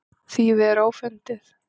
Þýfið er ófundið.